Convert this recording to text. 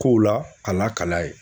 Kow la a lakal'a ye